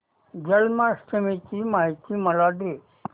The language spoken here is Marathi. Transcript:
जन्माष्टमी ची माहिती मला दे